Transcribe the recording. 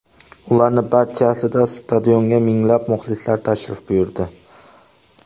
Ularning barchasida stadionga minglab muxlislar tashrif buyurdi.